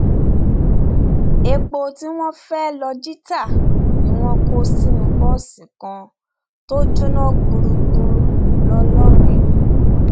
epo tí wọn fẹẹ lọọ jí ta ni wọn kó sínú bọọsì kan tó jóná gbúgbúrú ńlọrọrìn